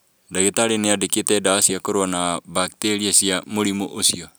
Ndagĩtari nĩandĩkĩte ndawa cia kũrũa na mbakteria cia mũrimũ ũcio